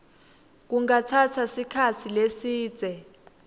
kungatsatsa sikhatsi lesidze